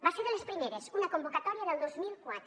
va ser de les primeres una convocatòria del dos mil quatre